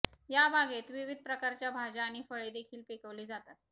या बागेत विविध प्रकारच्या भाज्या आणि फळे देखील पिकवली जातात